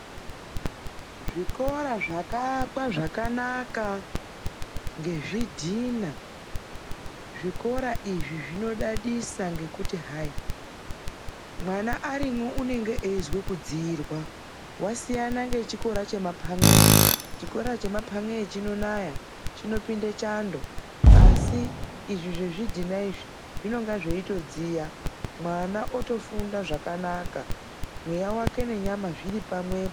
Zvikora zvakaakwa zvakanaka ngezvidhina. Zvikora izvi zvinodadisa ngekuti hai, mwana arimo anenge eizwa kudzirwa, zvasiyana nechikora chemapan'eyo. Chikora chemapan'eyo chinonaya, chinopinda chando asi izvi zvezvidhina zvinodziya mwana atofunda zvakanaka mweya nenyama zviri pamwepo.